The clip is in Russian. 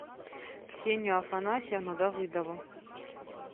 ксению афанасьевну давыдову